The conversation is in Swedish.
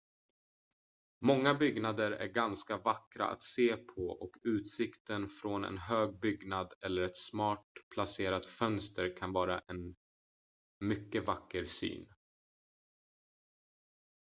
många byggnader är ganska vackra att se på och utsikten från en hög byggnad eller ett smart placerat fönster kan vara en mycket vacker syn